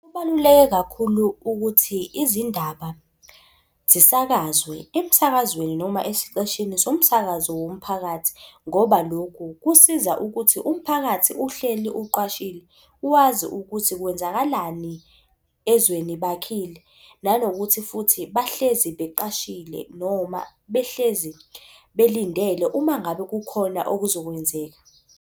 Kubaluleke kakhulu ukuthi izindaba zisakazwe emsakazweni noma esiteshini somsakazo womphakathi, ngoba lokhu kusiza ukuthi umphakathi uhleli uqwashile, wazi ukuthi kwenzakalani ezweni bakhile, nanokuthi futhi bahlezi beqashile noma behlezi belindele uma ngabe kukhona okuzokwenzeka.